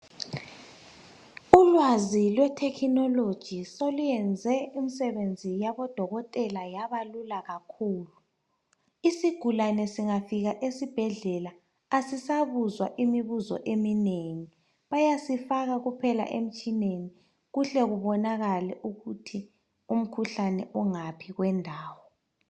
Ulwazi lwe technology seluyenze umsebenzi yabodokotela yabalula kakhulu. Isigulane singafika esibhedlela asisabuzwa imibuzo eminengi bayasifaka kuphela emtshineni kuhle kubonakale ukuthi umkhuhlane ungaphi.